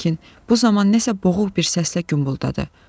Lakin bu zaman nəsə boğuq bir səslə gümbuldadı.